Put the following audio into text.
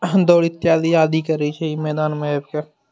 हम दौड़क तैयारी करे छी इ मैदान में आब के।